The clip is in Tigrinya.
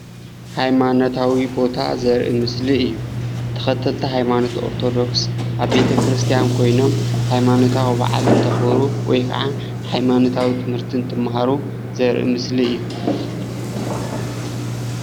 ሃይማኖታዊ ቦታ ዘርኢ ምስሊ እዩ፡፡ ተከተልቲ ሃይማኖት ኦርቶደኩስ ኣብ ቤተክርስያን ኮይኖም ሃይማኖታዊ በዓል እንተክብሩ ወይ ከዓ ሃይማኖታዊ ትምህርቲ እንትማሃሩ ዘርኢ ምስሊ እዩ፡፡